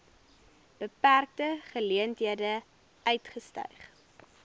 beperkte geleenthede uitgestyg